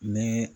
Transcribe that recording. Ni